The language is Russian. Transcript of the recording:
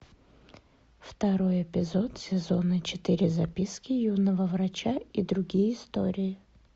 второй эпизод сезона четыре записки юного врача и другие истории